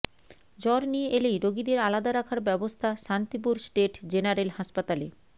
জ্বর নিয়ে এলেই রোগীদের আলাদা রাখার ব্যবস্থা শান্তিপুর স্টেট জেনারেল হাসপাতালে